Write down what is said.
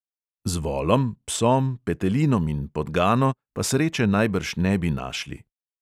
Z volom, psom, petelinom in podgano pa sreče najbrž ne bi našli.